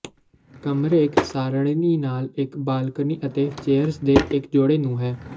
ਕਮਰੇ ਇੱਕ ਸਾਰਣੀ ਨਾਲ ਇੱਕ ਬਾਲਕੋਨੀ ਅਤੇ ਚੇਅਰਜ਼ ਦੇ ਇੱਕ ਜੋੜੇ ਨੂੰ ਹੈ